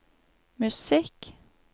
musikk